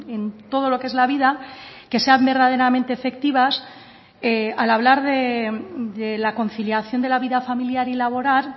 en todo lo que es la vida que sean verdaderamente efectivas al hablar de la conciliación de la vida familiar y laboral